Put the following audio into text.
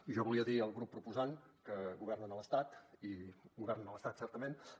i jo volia dir al grup proposant que governen a l’estat i governen a l’estat certament